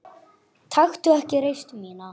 Taktu ekki reisn mína.